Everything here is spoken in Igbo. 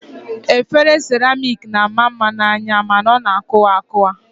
Efere seramik na-ama mma n'anya mana ọ na-akụwa akụwa